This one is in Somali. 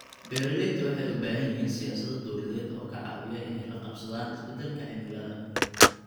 Beeraleydu waxay u baahan yihiin siyaasado dawladeed oo ka caawiya inay la qabsadaan isbeddelka cimilada.